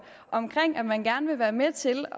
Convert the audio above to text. om at man gerne vil være med til